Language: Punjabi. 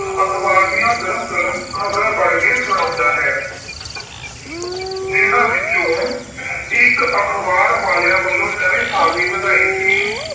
ਅਖ਼ਬਾਰ ਦੀਆਂ ਗਰਮ ਗਰਮ ਖਬਰਾਂ ਪੜ੍ਹ ਕੇ ਸੁਣਾਉਂਦਾ ਹੈ। ਜਿੰਨਾ ਵਿੱਚੋਂ ਇੱਕ ਅਖਬਾਰ ਵਾਲਿਆ ਵੱਲੌੋ ਨਵੇਂ ਸਾਲ ਦੀ ਵਧਾਈ ਸੀ।